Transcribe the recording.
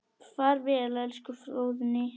Far vel elsku Fróðný.